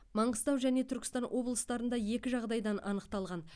маңғыстау және түркістан облыстарында екі жағдайдан анықталған